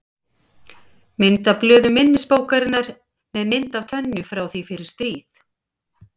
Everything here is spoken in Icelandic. Mynd af blöðum minnisbókarinnar með mynd af Tönyu frá því fyrir stríð.